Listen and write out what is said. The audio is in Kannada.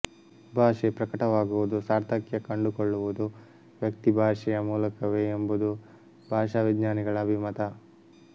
ಭಾಷೆ ಪ್ರಕಟವಾಗುವುದು ಸಾರ್ಥಕ್ಯ ಕಂಡುಕೊಳ್ಳುವುದು ವ್ಯಕ್ತಿಭಾಷೆಯ ಮೂಲಕವೇ ಎಂಬುದು ಭಾಷಾವಿಜ್ಞಾನಿಗಳ ಅಭಿಮತ